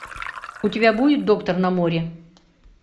у тебя будет доктор на море